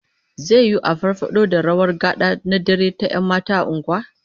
Zai yiwu a iya farfado da rawar gad'a na dare ta 'yan mata a unguwa